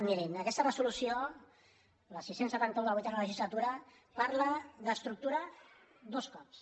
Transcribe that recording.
mirin aquesta resolució la sis cents i setanta un de la vuitena legisla·tura parla d’estructura dos cops